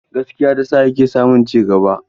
Gaskiyarsa ta sa yake samun cigaba.